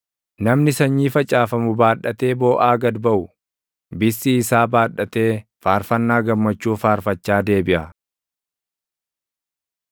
Namni sanyii facaafamu baadhatee booʼaa gad baʼu, bissii isaa baadhatee faarfannaa gammachuu faarfachaa deebiʼa.